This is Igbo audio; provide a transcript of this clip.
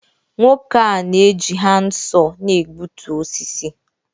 nwoke a na-eji handsaw na-egbutu osisi